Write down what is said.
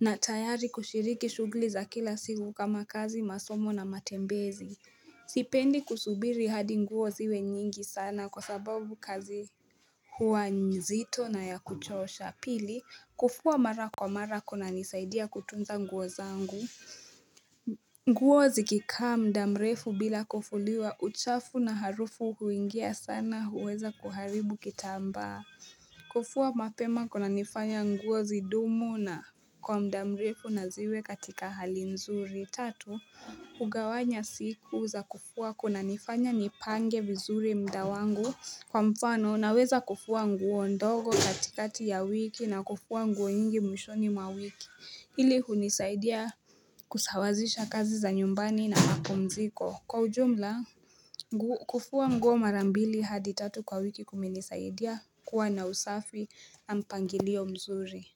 na tayari kushiriki shughuli za kila siku kama kazi masomo na matembezi Sipendi kusubiri hadi nguo ziwe nyingi sana kwa sababu kazi huwa nzito na ya kuchosha pili kufua mara kwa mara kunanisaidia kutunza nguo zangu nguo zikikaa muda mrefu bila kufuliwa uchafu na harufu huingia sana huweza kuharibu kitambaa kufua mapema kunanifanya nguo zidumu na kwa muda mrefu na ziwe katika hali nzuri. Tatu, kugawanya siku za kufua kunanifanya nipange vizuri muda wangu kwa mfano naweza kufua nguo ndogo katikati ya wiki na kufua nguo nyingi mwishoni mwa wiki. Hili hunisaidia kusawazisha kazi za nyumbani na mapumziko. Kwa ujumla, kufua nguo mara mbili hadi tatu kwa wiki kumenisaidia kuwa na usafi na mpangilio mzuri.